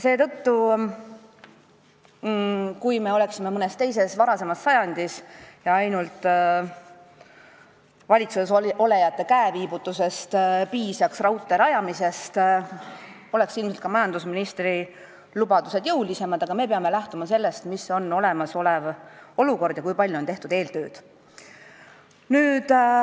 Kui me oleksime mõnes eelmises sajandis ja valitsuses olijate käeviibutusest piisaks raudtee rajamiseks, siis oleks majandusministri lubadused küllap jõulisemad, aga me peame lähtuma sellest, milline on olemasolev olukord ja kui palju on tehtud eeltööd.